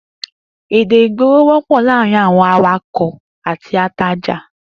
Èdè ìgboro wó̩pò̩ láàárín àwo̩n awakò̩ àti atajà